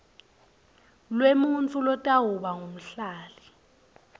lwemuntfu lotawuba ngumhlali